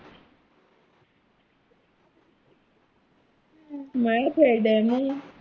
ਮੈਂ ਕਿਆ ਡਹਿਨੇ ਆਂ